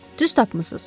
Düz tapmısınız.